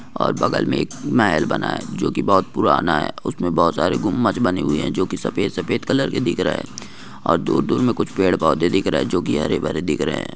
और बगल में एक महल बना है जो की बहुत पुराना है उसमें बहुत सारे गुंबज बने हुए हैं जो की सफेद सफेद कलर के दिख रहे हैं और दूर-दूर में कुछ पेड़ पौधे दिख रहे हैं जो की हरे-भरे दिख रहे हैं।